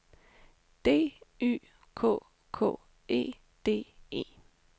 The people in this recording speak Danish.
D Y K K E D E